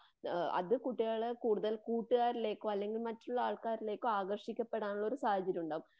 അതു കുട്ടികളെ കൂടുതൽ കൂട്ടുകാരിലേക്കോ അല്ലങ്കിൽ മറ്റുള്ള ആൾക്കരിലേക്കോ ആകർഷിക്കപ്പെടാനുള്ള ഒരു സാഹചര്യമുണ്ടാകാം